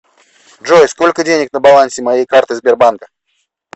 джой сколько денег на балансе моей карты сбербанка